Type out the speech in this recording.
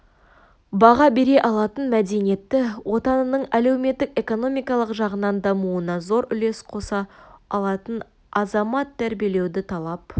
баға бере алатын мәдениетті отанының әлеуметтік-экономикалық жағынан дамуына зор үлес қоса алатын азамат тәрбиелеуді талап